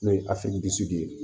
N'o ye ye